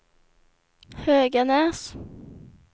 Höganäs